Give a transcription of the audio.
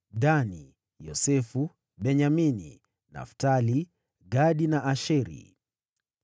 Dani, Yosefu, Benyamini, Naftali, Gadi na Asheri.